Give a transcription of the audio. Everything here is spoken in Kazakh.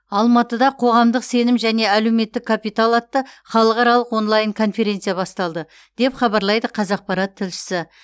алматыда қоғамдық сенім және әлеуметтік капитал атты халықаралық онлайн конференция басталды деп хабарлайды қазақпарат тілшісі